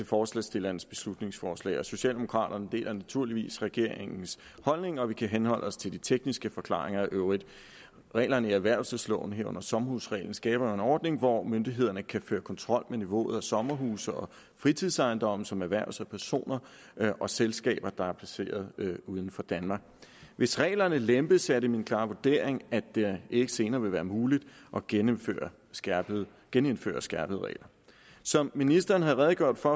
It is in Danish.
forslagsstillernes beslutningsforslag socialdemokraterne deler naturligvis regeringens holdning og vi kan henholde os til de tekniske forklaringer i øvrigt reglerne i erhvervelsesloven herunder sommerhusreglen skaber jo en ordning hvor myndighederne kan føre kontrol med niveauet af sommerhuse og fritidsejendomme som erhverves af personer og selskaber der er placeret uden for danmark hvis reglerne lempes er det min klare vurdering at det ikke senere vil være muligt at genindføre skærpede genindføre skærpede regler som ministeren har redegjort for